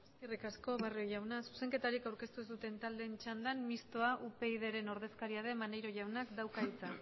eskerrik asko barrio jauna zuzenketak aurkeztu ez duten taldeen txandan mistoa upydren ordezkaria den maneiro jaunak dauka hitza